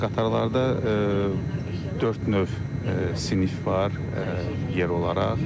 Qatarlarda dörd növ sinif var, yer olaraq.